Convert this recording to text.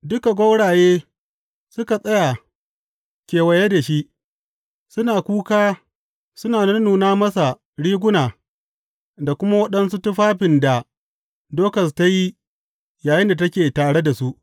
Duka gwauraye suka tsaya kewaye da shi, suna kuka suna nunnuna masa riguna da kuma waɗansu tufafin da Dokas ta yi yayinda take tare da su.